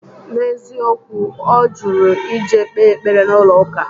N'eziokwu, ọ jụrụ ije kpee ekpere n'ụlọ ụka